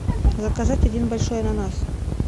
заказать один большой ананас